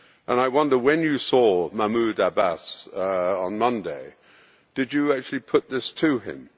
I wonder, when you saw Mahmoud Abbas on Monday, did you actually put this to him?